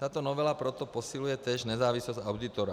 Tato novela proto posiluje též nezávislost auditora.